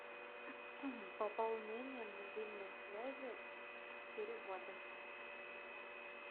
пополнение мобильной связи переводы